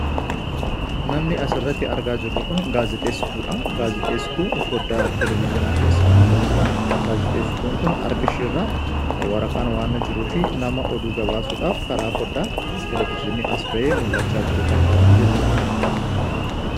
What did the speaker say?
Namni asirratti argaa jirru Kun gaazixeesituudha. Gaazixeesituu foddaa televeziyoonaa keessaan mul'atudha. Gaazixeesituun Kun harka ishee irra waraqaan waanta jiruu fi nama oduu gabaasuudhaaf karaa foddaa televezyiinii as ba'ee mul'achaa jiru fakkaatti jechuudha.